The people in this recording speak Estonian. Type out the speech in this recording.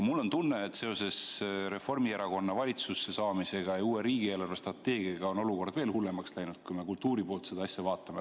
Mul on tunne, et seoses Reformierakonna valitsusse saamisega ja uue riigi eelarvestrateegiaga on olukord veel hullemaks läinud, kui me kultuuri poolt seda asja vaatame.